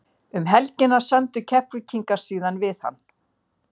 Um helgina sömdu Keflvíkingar síðan við hann.